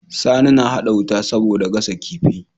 Sani na hada wuta saboda gasa kifi